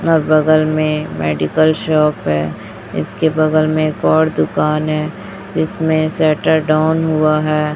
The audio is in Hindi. और बगल में मेडिकल शॉप है इसके बगल में एक और दुकान है जिसमें शटर डाउन हुआ है।